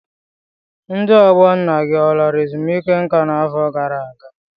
Ndị ọgbọ nna gị ọ lara ezumike nka n'afọ gara aga?